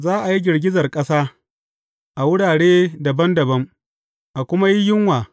Za a yi girgizar ƙasa a wurare dabam dabam, a kuma yi yunwa.